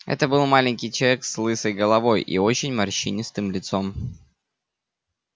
это был маленький человек с лысой головой и очень морщинистым лицом